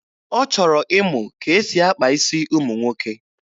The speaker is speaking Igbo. Ọ chọrọ ịmụ ka e si akpa isi ụmụ nwoke.